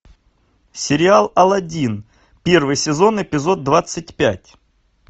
сериал алладин первый сезон эпизод двадцать пять